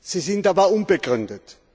Sie sind aber unbegründet.